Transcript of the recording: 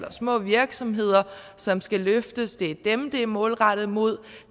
små virksomheder som skal løftes det er dem det er målrettet mod